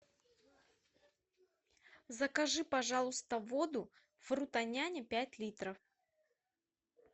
закажи пожалуйста воду фрутоняня пять литров